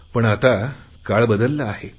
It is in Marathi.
पण आता काळ बदलला आहे